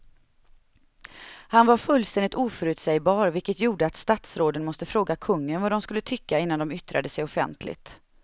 Han var fullständigt oförutsägbar vilket gjorde att statsråden måste fråga kungen vad de skulle tycka innan de yttrade sig offentligt.